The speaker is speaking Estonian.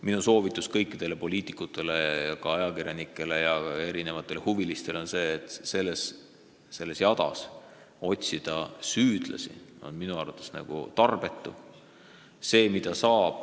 Minu soovitus kõikidele poliitikutele, ka ajakirjanikele ja muudele huvilistele on see, et selles kõiges süüdlasi otsida on minu arvates tarbetu.